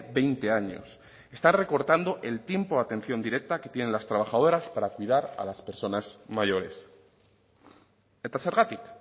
veinte años está recortando el tiempo de atención directa que tienen las trabajadores para cuidar a las personas mayores eta zergatik